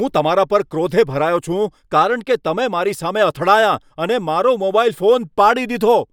હું તમારા પર ક્રોધે ભરાયો છું કારણ કે તમે મારી સામે અથડાયાં અને મારો મોબાઈલ ફોન પાડી દીધો.